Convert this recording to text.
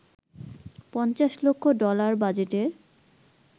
৫০ lakh dollar বাজেটের